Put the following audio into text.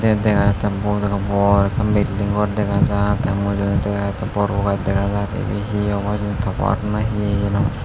te daga jattey bodoro bor akkan building gor dagajar tay mujungedi aagede bor bor guj dagajar ebay he obow hejani tower na he